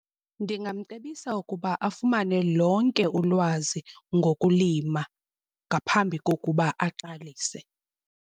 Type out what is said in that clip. Ndingamcebisa ukuba afumane lonke ulwazi ngokulima ngaphambi kokuba aqalise.